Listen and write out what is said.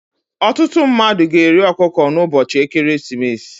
ọtụtụ mmadụ ga-eri ọkụkọ n'ụbọchị ekeresimesi